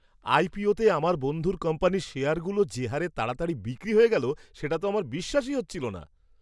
আইপিওতে আমার বন্ধুর কোম্পানির শেয়ারগুলো যে হারে তাড়াতাড়ি বিক্রি হয়ে গেল সেটা তো আমার বিশ্বাসই হচ্ছিল না!